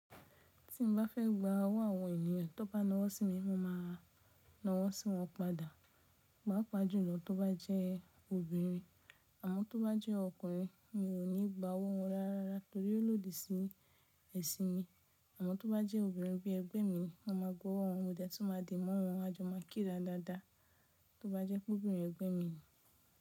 Tí mo bá fẹ́ gba owó àwọn ènìyàn tó bá nàwọ́ sí mi, mo máa nàwọ́ sí wọn padà. Papa jùlọ tó bá jẹ́ obìnrin, àmo tó bá jẹ́ ọkùnrin mi ò ní gba owó wọn rárá torí ó lòdì sí ẹ̀sìn mi. Àmo tó bá jẹ́ obìnrin bí ẹgbẹ́ mi ni mo máa gba owó wọn mo de tun máa di mọ́ wọn. A jọ máa kíra dáadáa tó bá jẹ́ pé obìnrin ẹgbẹ́ mi ni.